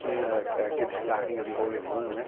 Tinha aq aqueles carrinhos de rolemã, né?